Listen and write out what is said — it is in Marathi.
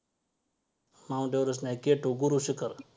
Mount everest नाही K two गुरुशिखर